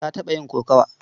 Ta taɓa yin kokawa.